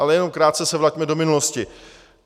Ale jenom krátce se vraťme do minulosti.